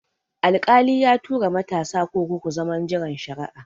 Alkali ya tura matasa kurkuku zaman jiran shari'a